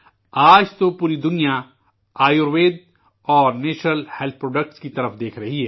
آج تو پوری دنیا آیوروید اورنیچرل ہیلتھ پروڈکٹس کی جانب دیکھ رہی ہے